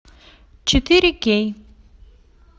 четыре кей